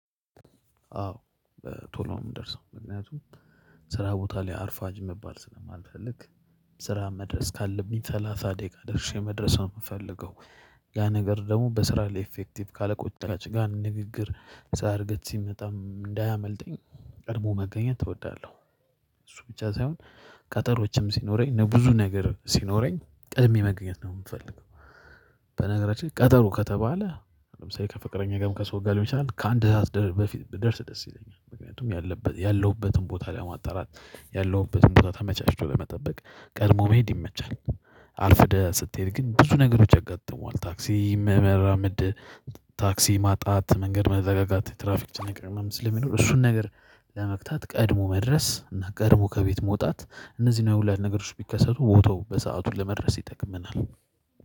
አዎ ቶሎ የምንደርሰው ምክንያቱም ስራ ቦታ ላይ አርፋጅ መባል ስለማልፈልግ ስራ መድረስ ካለብኝ ሰላሳ ደቂቃ ደርሼ መድረስ ነው ምፈልገው። ያ ነገር ደግሞ በስራ ላይ ኢፌክቲቭ ካለቆች ጥራች ጋር ንግግር ስላረገች ሲመጣ እንዳያመልጠኝ ቀድሞ መገኘት እወዳለሁ እሱ ብቻ ሳይሆን ቀጠሮችም ሲኖረኝ ብዙ ነገር ሲኖረኝ ቀድሜ መገኘት ነው የምፈልገው። በነገራችን ላይ ቀጠሩ ከተባለ ለምሳሌ ከፍቅረኛ ጋርም ከሰው ጋር ሊሆን ይችላል ከአንድ ሰዓት ደ በፊት ብደርስ ደስ ይለኛል ምክንያቱም ያለበ ያለሁበትን ቦታ ለማጣራት ያለውበትን ቦታ ተመቻችቶ በመጠበቅ ቀድሞ መሄድ ይመቻል። አርፍደህ ስትሄድ ግን ብዙ ነገሮች ያጋጥሟል ታክሲ መመራመድ ታክሲ ማጣት መንገድ መዘጋጋት ትራፊክ መጨነቅ ሊኖር ስለሚኖር እሱን ነገር ለመፍታት ቀድሞ መድረስ እና ቀድሞ ከቤት መውጣት እነዚህን የሁላ ነገሮች ቢከሰቱ ቦታው በሰአቱ ለመድረስ ይጠቅምናል